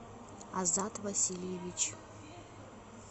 азат васильевич